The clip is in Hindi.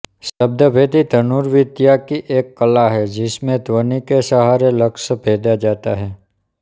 शब्द भेदी धनुर्विद्या की एक कला है जिसमें ध्वनि के सहारे लक्ष्य भेदा जाता है